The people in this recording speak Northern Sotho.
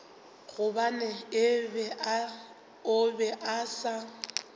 gobane o be a sa